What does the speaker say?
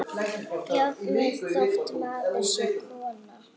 Jafnvel þótt maður sé kona.